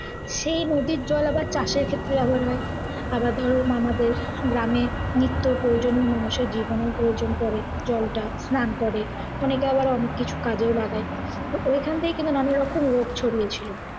সেই নদীর জল আবার চাষের ক্ষেত্রে ব্যবহার হয়। আবার ধরো আমাদের গ্রামে নিত্য প্রয়োজনীয় জিনিসে যে কোনও প্রয়োজন পরে জলটা করে। অনেকে আবার অনেক কিছু কাজেও লাগায়। তো ওখানে থেকে কিন্তু নানা রকম রোগ ছড়িয়েছিল।